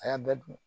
A y'a bɛɛ dun